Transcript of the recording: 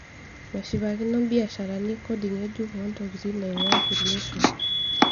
Meshipakino mbiasharani kodi ng'ejuk oo ntokitin naing'ua kulie oshon.